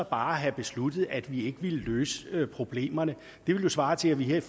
bare have besluttet at vi ikke ville løse problemerne det ville svare til at vi her i